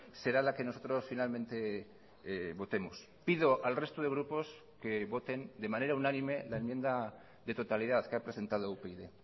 será la que nosotros finalmente votemos pido al resto de grupos que voten de manera unánime la enmienda de totalidad que ha presentado upyd